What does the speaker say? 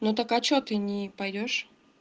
ну так а что ты не пойдёшь